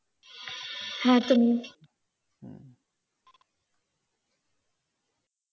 হ্যাঁ, তুমিও।